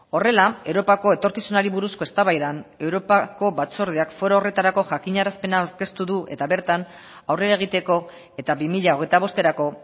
horrela europako etorkizunari buruzko eztabaidan europako batzordeak foro horretarako jakinarazpena aurkeztu du eta bertan aurrera egiteko eta bi mila hogeita bosterako